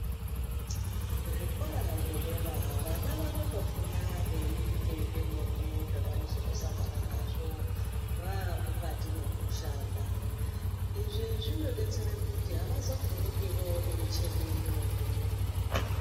Kuzvikora zvedera vana vanotofunda veiite zvemene zvavanozOtoosangane nazvo vamukatu mwekushanda izvi zvinodetsere kuti avazovhunduki voone micheni imweni.